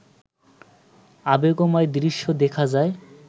আবেগময় দৃশ্য দেখা যায়